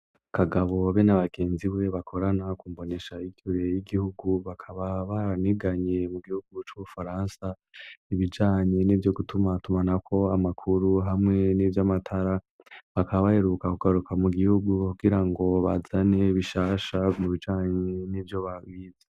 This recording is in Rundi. Kagabo be n'abagenziwe bakorana kumboneshakure y'igihugu bakaba baraniganye mu gihugu c' ubufaransa ibijanye n'ivyo gutuma tumanako amakuru hamwe n'ivyamatara bakaba baheruka kugaruka mu gihugu kugirango bazane bishasha mu bijanye n'ivyo baba bize.